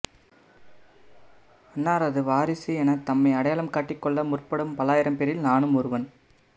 அன்னாரது வாரிசு எனத் தம்மை அடையாளம் காட்டிக்கொள்ள முற்படும் பல்லாயிரம் பேரில் நானும் ஒருவன்